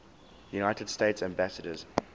united states ambassadors